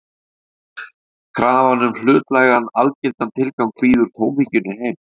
Öðru nær: Krafan um hlutlægan, algildan tilgang býður tómhyggjunni heim.